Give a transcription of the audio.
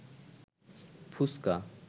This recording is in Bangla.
ফুচকা